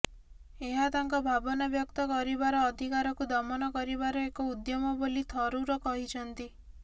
ଏହା ତାଙ୍କ ଭାବନା ବ୍ୟକ୍ତ କରିବାର ଅଧିକାରକୁ ଦମନ କରିବାର ଏକ ଉଦ୍ୟମ ବୋଲି ଥରୁର କହିଛନ୍ତି